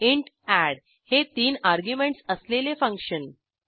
int add हे तीन arguments असलेले फंक्शन